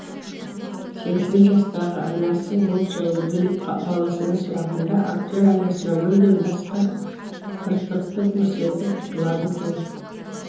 сексен жастағы анасы ол жайлы біліп баласынан сұрағанда актер анасына мүлдем басқа тыртықты көрсетіп құтылады екен